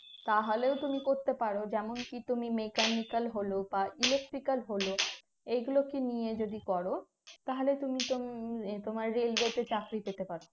তাহলেও তুমি করতে পারো যেমন কি তুমি mechanical হলো বা electrical হলো এগুলো কে নিয়ে যদি করো তাহলে তুমি তুমি তোমার railway তে চাকরি পেতে পারো